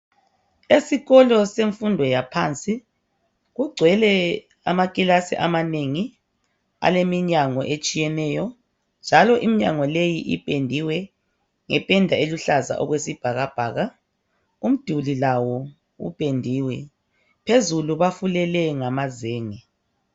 Esikolo semfundo yaphansi, kugcwele amakilasi amanengi aleminyango etshiyeneyo. Njalo iminyango leyi ipendiwe ngependa eluhlaza okwesibhakabhaka. Umduli lawo upendiwe , phezulu bafulele ngamazenge.